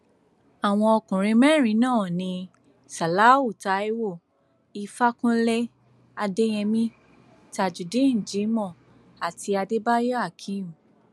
àwọn ọkùnrin mẹrin náà ní ṣáláú taiwo ìfàkúnlẹ adéyèmí tajudeen jimoh àti adébáyò akeem